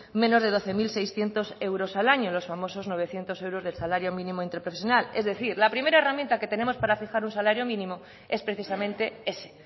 menos de doce mil seiscientos euros al año los novecientos euros del salario mínimo interprofesional es decir la primera herramienta que tenemos para fijar un salario mínimo es precisamente ese